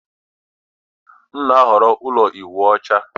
M na-ahọrọ ụlọ ịwụ ọcha